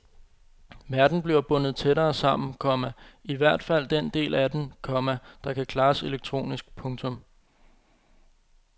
Verden bliver bundet tættere sammen, komma i hvert fald den del af den, komma der kan klares elektronisk. punktum